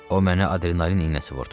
O mənə adrenalin iynəsi vurdu.